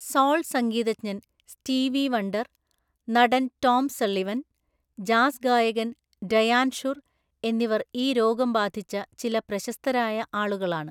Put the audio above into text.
Soul സംഗീതജ്ഞൻ Stevie Wonder, നടൻ Tom Sullivan, jazz ഗായകൻ ഡയാൻ ഷുർ എന്നിവർ ഈ രോഗം ബാധിച്ച ചില പ്രശസ്തരായ ആളുകളാണ്.